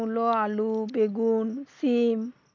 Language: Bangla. মূলো আলু বেগুন সিম